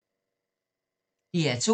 DR2